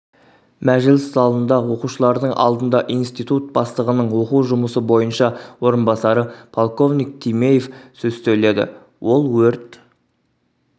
мәжіліс залында оқушылардың алдында институт бастығының оқу жұмысы бойынша орынбасары полковник тимеев сөз сөйледі ол өрт